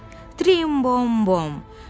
Trim bom bom.